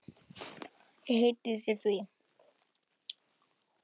Ég heiti þér því.